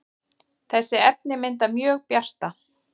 þessi efni mynda mjög bjarta